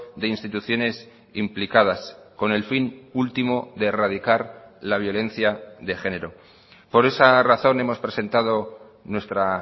de instituciones implicadas con el fin último de erradicar la violencia de género por esa razón hemos presentado nuestra